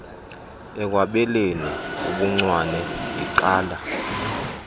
ekwabeleni ubuncwane igqala